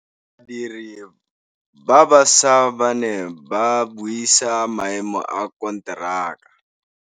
Badiri ba baša ba ne ba buisa maêmô a konteraka.